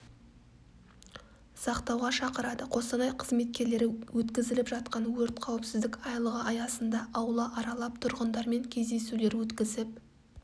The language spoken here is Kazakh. сақтауға шақырады қостанай қызметкерлері өткізіліп жатқан өрт қауіпсіздік айлығы аясында аула аралап тұрғындармен кездесулер өткізіп